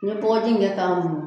N ye bɔgɔji in kɛ k'a mun